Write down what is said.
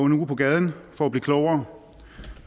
en uge på gaden for at blive klogere